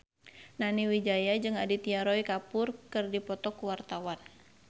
Nani Wijaya jeung Aditya Roy Kapoor keur dipoto ku wartawan